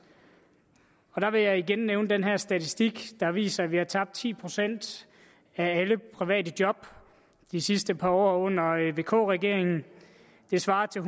der vil jeg igen nævne den her statistik der viser at vi har tabt ti procent af alle private job det sidste par år under vk regeringen det svarer til